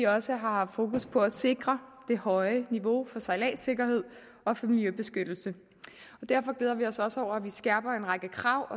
også har haft fokus på at sikre det høje niveau for sejladssikkerhed og for miljøbeskyttelse og derfor glæder vi os også over at man skærper en række krav